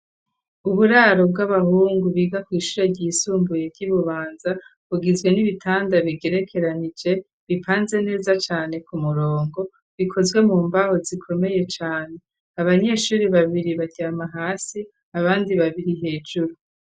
Uburaro bw'abahungu biga kw'ishuri ryisumbuye ryi Bubanza bugizwe n'ibitanda bigerekeranije bipanze neza cane ku mirongo bikozwe mu mbaho zikomeye cane abanyeshuri babiri baryama hasi abandi babiri hejuru.